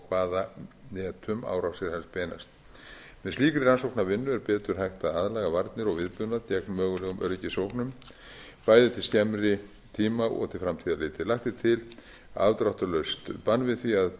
hvaða netum árásirnar beinast með slíkri rannsóknarvinnu er betur hægt að aðlaga varnir og viðbúnað gegn mögulegum öryggisógnum bæði til skemmri tíma og til framtíðar litið lagt er til afdráttarlaust bann við því að